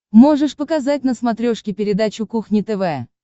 можешь показать на смотрешке передачу кухня тв